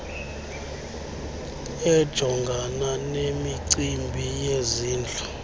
ejongana nemicimbi yezindlu